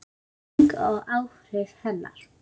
Birting og áhrif hennar.